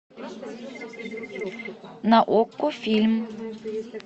на окко фильм